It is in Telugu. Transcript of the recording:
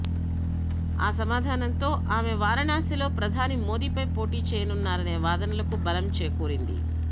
ఆ సమాధానంతో ఆమె వారిణాసిలో ప్రధాని మోదీపై పోటీ చేయనున్నారనే వాదనలకు బలం చేకూరింది